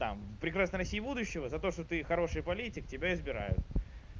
там прекрасная россия будущего за то что ты хороший политик тебя избирают